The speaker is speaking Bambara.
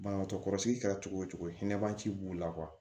Banabagatɔ kɔrɔsigi kɛra cogo o cogo hinɛ b'an ci b'u la